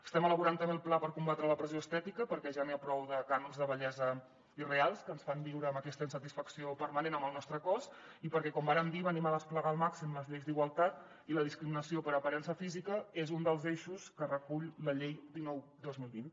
estem elaborant també el pla per combatre la pressió estètica perquè ja n’hi ha prou de cànons de bellesa irreals que ens fan viure amb aquesta insatisfacció permanent amb el nostre cos i perquè com vàrem dir venim a desplegar al màxim les lleis d’igualtat i la discriminació per aparença física és un dels eixos que recull la llei dinou dos mil vint